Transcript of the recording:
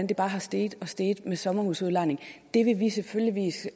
bare er steget og steget med sommerhusudlejning det vil vi selvfølgelig